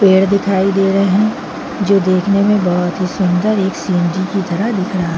पेड़ दिखाई दे रहे है जो देखने में बहोत ही सूंदर एक की तरह दिख रहा--